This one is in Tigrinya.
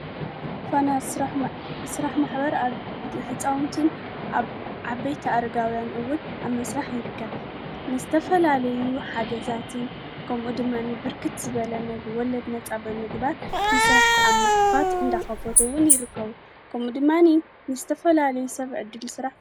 ዝኾነ ሥራሕ ማኅበር ኣብ ብቲ ሕፃውንትን ኣብ ዓ በይተ ኣርጋውያን እውይ ኣብ መሥራሕ ይርከብ ንስተፈላለዩ ሓገዛትን ከምኡ ድማኒ ብርክት ዝበለነ ወለድ ነጻ በምግባር ምሥራሕ ኣብ ማኽፋት እንዳኸፈትውን ይርከቡ። ከምኡ ድማኒ ንስተፈላለዩ ሰብ እድል ሥራሕ ይፈጥር።